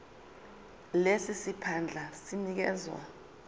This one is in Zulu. lesi siphandla sinikezwa